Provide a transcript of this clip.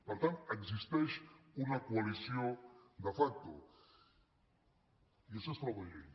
per tant existeix una coalició de facto i això és frau de llei